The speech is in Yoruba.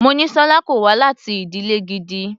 Monísọ́lá kò wá láti ìdílè gidi.